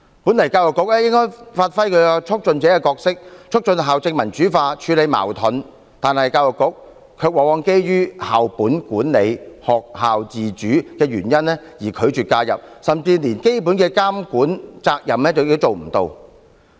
本來教育局應該發揮其促進者的角色，促進校政民主化、處理矛盾，但教育局卻往往基於校本管理、學校自主的原因而拒絕介入，甚至連基本的監管責任也做不到。